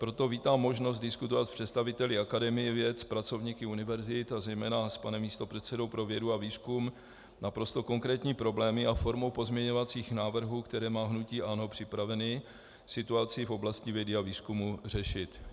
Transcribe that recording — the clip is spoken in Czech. Proto vítám možnost diskutovat s představiteli Akademie věd, s pracovníky univerzit a zejména s panem místopředsedou pro vědu a výzkum naprosto konkrétní problémy a formou pozměňovacích návrhů, které má hnutí ANO připraveny, situaci v oblasti vědy a výzkumu řešit.